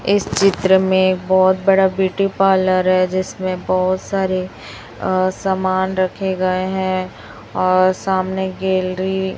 इस चित्र में बहोत बड़ा ब्यूटी पार्लर है जिसमें बहोत सारे अ सामान रखे गए हैं और सामने गैलरी --